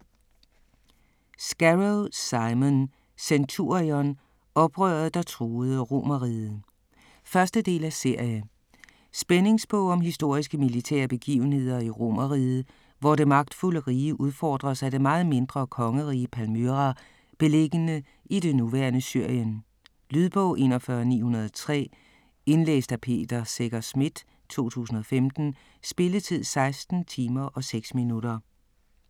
Scarrow, Simon: Centurion: oprøret der truede Romerriget 1. del af serie. Spændingsbog om historiske militære begivenheder i Romeriget, hvor det magtfulde rige udfordres af det meget mindre kongerige Palmyra beliggende i det nuværende Syrien. Lydbog 41903 Indlæst af Peter Secher Schmidt, 2015. Spilletid: 16 timer, 6 minutter.